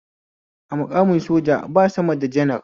A muƙamin soja ba sama da janar